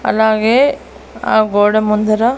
అలాగే ఆ గోడ ముందర--